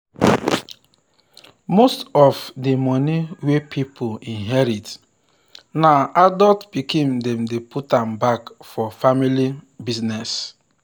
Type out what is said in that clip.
most of of the money wey pipo inherit now adult pikin dem dey put am back for family business.